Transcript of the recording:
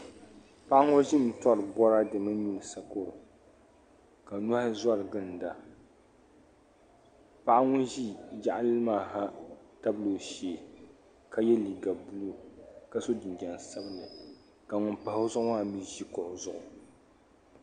Paɣa ŋɔ ʒimi tori boraade mini nyuli sokoro ka nohi zoriginda paɣa ŋun ʒi yaɣali maa ha tabila o shee ka ye liiga buluu ka so jinjiɛm sabinli ka ŋun pahi o zuɣu maa ʒi kuɣu zuɣu.